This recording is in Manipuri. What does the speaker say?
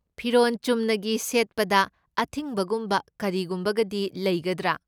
ꯐꯤꯔꯣꯟ ꯆꯨꯝꯅꯒꯤ ꯁꯦꯠꯄꯗ ꯑꯊꯤꯡꯕꯒꯨꯝꯕ ꯀꯔꯤꯒꯨꯝꯕꯒꯗꯤ ꯂꯩꯒꯗ꯭ꯔꯥ?